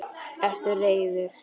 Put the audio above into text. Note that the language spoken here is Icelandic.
Ertu reiður?